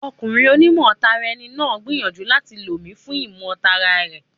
Ọkùnrin oní mọ̀ tara ẹni náà gbìyànjú láti lò mi fún ìmọ̀ tara rẹ̀.